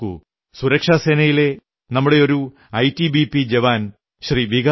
നോക്കൂ സുരക്ഷാസേനയിലെ നമ്മുടെ ഒരു ഐടിബിപി ജവാൻ ശ്രീ